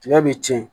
Tigɛ bi tiɲɛ